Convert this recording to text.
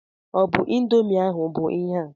Ọ bụ ịndomii ahụ bụ ihe a?